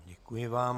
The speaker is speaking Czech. Děkuji vám.